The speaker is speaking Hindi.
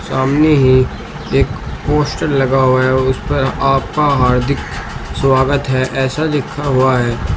सामने ही एक पोस्टर लगा हुआ है उस पर आपका हार्दिक स्वागत है ऐसा लिखा हुआ है।